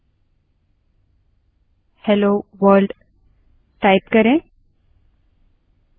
terminal को open करने की प्रक्रिया पहले से ही एक दूसरे tutorial में समझाई गयी है